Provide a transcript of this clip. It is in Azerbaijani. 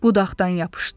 Budaqdan yapışdı.